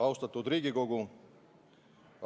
Austatud Riigikogu!